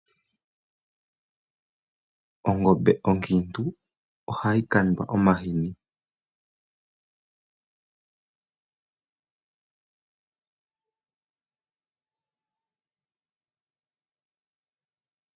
Ongombe onkintu ohayi kandwa omahini.